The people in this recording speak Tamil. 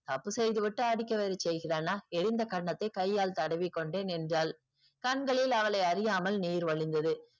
தப்பு செய்துவிட்டு அடிக்க வேறு செய்கிறானா. எரிந்த கன்னத்தை கையால் தடவி கொண்டே நின்றாள். கண்களில் அவளை அறியாமல் நீர் வழிந்தது.